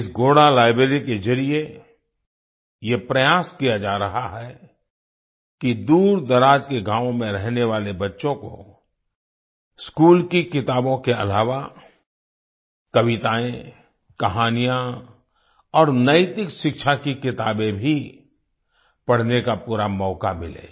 इस घोड़ा लाइब्रेरी के जरिए यह प्रयास किया जा रहा है कि दूरदराज के गाँवों में रहने वाले बच्चों को स्कूल की किताबों के अलावा कविताएँ कहानियाँ और नैतिक शिक्षा की किताबें भी पढ़ने का पूरा मौका मिले